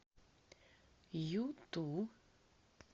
юту